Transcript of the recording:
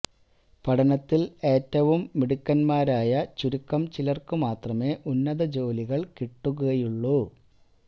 പഠനത്തില് ഏറ്റവും മിടുക്കന്മാരായ ചുരുക്കം ചിലര്ക്കു മാത്രമേ ഉന്നത ജോലികള് കിട്ടുകയുള്ളു